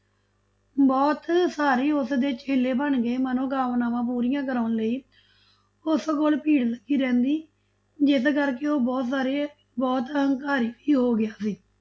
ਬਹੁਤ ਸਾਰੇ ਉਸਦੇ ਚੇਲੇ ਬਣ ਗਏ, ਮਨੋਕਾਮਨਾਵਾਂ ਪੂਰੀਆਂ ਕਰਾਉਣ ਲਈ ਉਸ ਕੋਲ ਭੀੜ ਲੱਗੀ ਰਹਿੰਦੀ, ਜਿਸ ਕਰਕੇ ਉਹ ਬਹੁਤ ਸਾਰੇ ਬਹੁਤ ਹੰਕਾਰੀ ਵੀ ਹੋ ਗਿਆ ਸੀ।